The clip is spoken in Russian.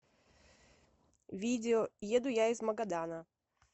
видео еду я из магадана